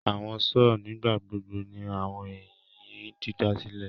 Awọn saws nigbagbogbo ni awọn eyin didasilẹ